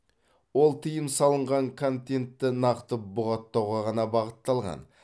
ол тыйым салынған контентті нақты бұғаттауға ғана бағытталған